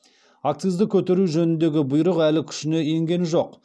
акцизді көтеру жөніндегі бұйрық әлі күшіне енген жоқ